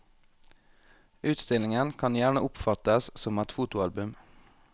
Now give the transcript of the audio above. Utstillingen kan gjerne oppfattes som et fotoalbum.